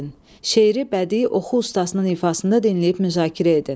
Şeiri bədii oxu ustasının ifasında dinləyib müzakirə edin.